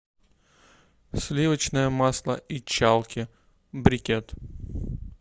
сливочное масло ичалки брикет